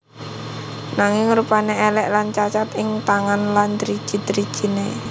Nanging rupané èlèk lan cacat ing tangan lan driji drijiné